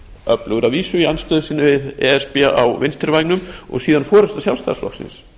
öflugur að vísu í andstöðu við e s b á vinstri vængnum og svo forusta sjálfstæðisflokksins